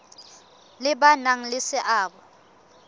le ba nang le seabo